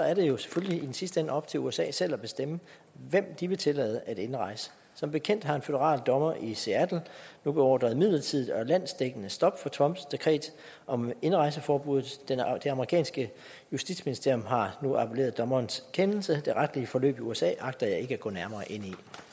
er det jo selvfølgelig i den sidste ende op til usa selv at bestemme hvem de vil tillade indrejse som bekendt har en føderal dommer i seattle jo beordret midlertidigt og landsdækkende stop for trumps dekret om indrejseforbud det amerikanske justitsministerium har nu appelleret dommerens kendelse det retlige forløb i usa agter jeg ikke at gå nærmere ind